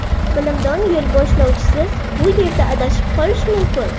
Bilimdon yo‘lboshlovchisiz bu yerda adashib qolish mumkin.